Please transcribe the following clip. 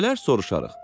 Gələr soruşarıq.